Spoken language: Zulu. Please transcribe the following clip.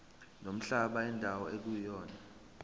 nomhlaba indawo ekuyona